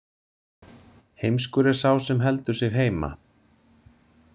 Heimskur er sá sem heldur sig heima.